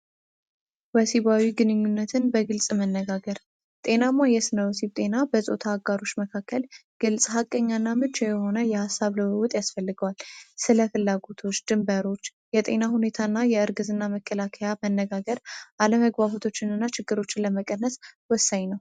ወሲባዊ ግንኙነትን በግልጽ መነጋገር ጤናማ የስነ ወሲብ ጤና የጾታ አጋሮች መካከል ግልጽ ሀቀኛ እና ምቹ የሆነ የሀሳብ ልዉዉጥ ያስፈልገዋል። ስለ ፍላጎቶች ድንበሮች የጤና ሁኔታ እና የእርግዝና መከላከያ መነጋገር አለመግባባቶችን እና ችግሮችን ለመቅረፍ ወሳኝ ነዉ።